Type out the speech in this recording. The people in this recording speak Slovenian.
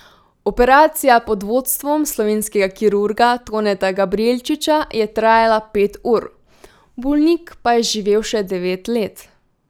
Operacija pod vodstvom slovenskega kirurga Toneta Gabrijelčiča je trajala pet ur, bolnik pa je živel še devet let.